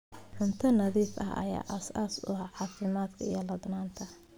Cunto nadiif ah ayaa aasaas u ah caafimaadka iyo ladnaanta.